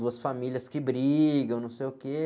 Duas famílias que brigam, não sei o quê.